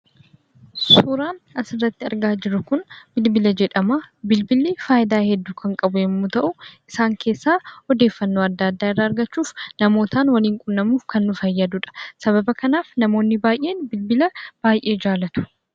Suuraan asirratti argaa jirru kun bilbila jedhama. Bilbilli faayidaa hedduu kan qabu yommuu ta'u, isaan keessaa: odeeffannoo adda addaa irraa argachuuf, namootaan wal quunnamuuf kan nu fayyadudha. Sababa kanaaf namoonni baay'een bilbila baay'ee jaallatu.